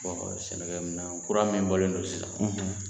Sɛnɛkɛ minɛn kura min bɔlen no sisan